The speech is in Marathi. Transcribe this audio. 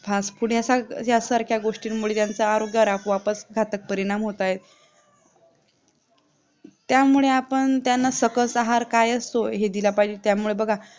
हाच पुण्यासारखं ज्यासारखं गोष्टींमुळे त्यांचा आरोग्य वरच आपोआपच घातक परिणाम होत आहे त्यामुळे आपण त्यांना सकस आहार काय असतो हे दिला पाहिजे त्यामुळे बघा